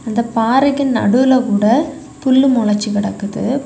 அந்த பாறைக்கு நடுவுல கூட புல்லு மொளச்சு கிடக்குது.